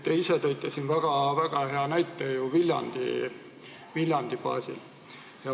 Te ise tõite siin väga hea näite ju Viljandi baasil.